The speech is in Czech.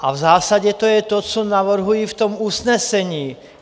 A v zásadě to je to, co navrhuji v tom usnesení.